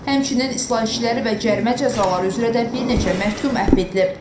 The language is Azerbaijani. Həmçinin islah işləri və cərimə cəzaları üzrə də bir neçə məhkum əfv edilib.